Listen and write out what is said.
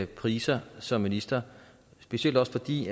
priser som minister specielt også fordi